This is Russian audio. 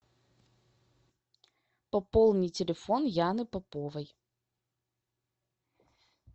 пополни телефон яны поповой